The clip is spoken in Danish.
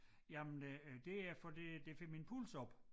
Jamen øh det er fordi det får min puls op